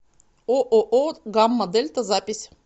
ооо гамма дельта запись